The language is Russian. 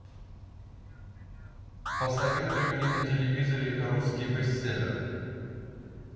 посоветуй мне на телевизоре русский бестселлер